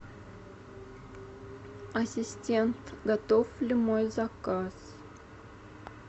ассистент готов ли мой заказ